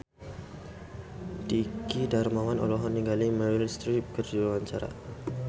Dwiki Darmawan olohok ningali Meryl Streep keur diwawancara